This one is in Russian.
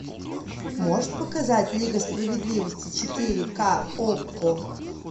можешь показать лига справедливости четыре ка окко